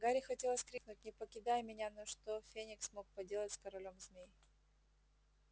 гарри хотелось крикнуть не покидай меня но что феникс мог поделать с королём змей